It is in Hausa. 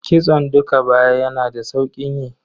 Kitson dukka baya yana da saukin yi.